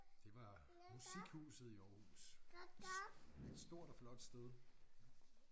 Det var musikhuset i Aarhus et stort og flot sted